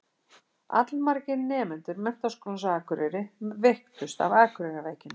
Allmargir nemendur Menntaskólans á Akureyri veiktust af Akureyrarveikinni.